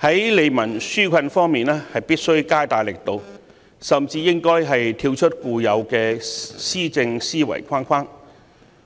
在利民紓困方面必須加大力度，甚至應該跳出固有的施政思維框框。